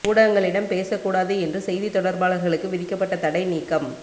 ஊடகங்களிடம் பேசக் கூடாது என்று செய்தித் தொடர்பாளர்களுக்கு விதிக்கப்பட்டத் தடை நீக்கம்